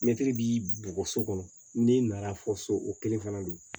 Mɛtiri b'i bugɔ so kɔnɔ n'i nana fɔ so o kelen fana don